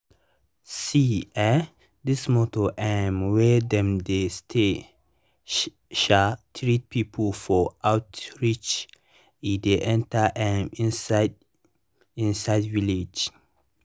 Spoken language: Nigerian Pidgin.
see eh this motor um wey dem dey stay um treat people for outreach e dey enter um inside inside villages.